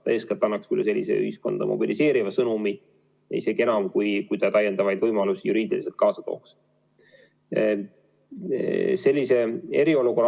See eeskätt annaks sellise ühiskonda mobiliseeriva sõnumi isegi enam, kui ta täiendavaid võimalusi juriidiliselt kaasa tooks.